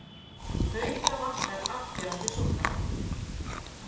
Hauka vantar afgerandi sóknarmann